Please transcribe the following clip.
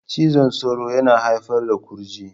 Cizon sauro yana haifar da kurji